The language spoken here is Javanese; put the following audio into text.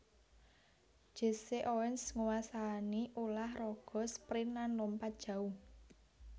Jesse Owens nguwasani ulah raga sprint lan lompat jauh